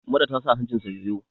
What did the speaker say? Mura ta sa hancinsa yoyo!